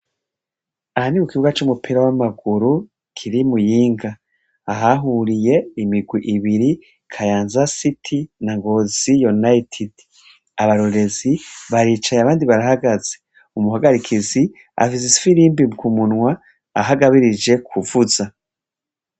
Aha ni kukibuga c'umupira w'amaguru kiri i Muyinga. Ahahuriye imigwi ibiri: Kayanza siti na Ngozi yunayitidi. Abarorerezi baricaye, abandi barahafaze. Umuhagarikizi afise ifirimbi kumunwa aho agabirije kuvuza.